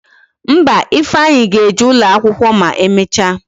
Mba, Ifeanyi ga-eje ụlọ akwụkwọ ma emecha